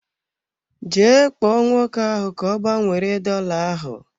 Jee kpọọ nwoke ahụ ka ọ gbanwere dola ahụ.